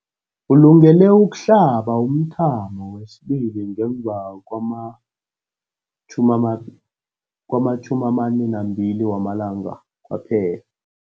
Ulungele ukuhlaba umthamo wesibili ngemva kwama-42 wamalanga kwaphela.